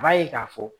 U b'a ye k'a fɔ